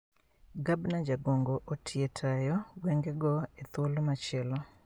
Gabna jagongo otie tayo gwenge go e thuolo machielo